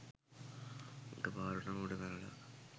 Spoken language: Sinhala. එකපාරටම උඩ පැනල